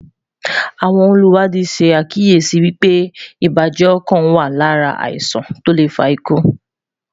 àwọn oluwadi sá kíyèsi wípé ibà jẹ ọkan Lára àwọn iṣan to le faku